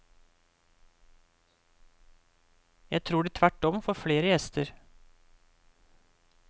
Jeg tror de tvert om får flere gjester.